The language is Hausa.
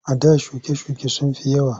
A da shuke-shuke sun fi yawa.